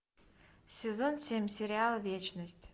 сезон семь сериал вечность